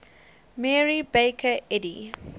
mary baker eddy